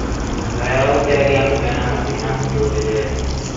Nĩ wega gũteithia andũ mena mathĩna mũtũrĩre-inĩ